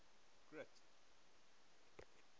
grint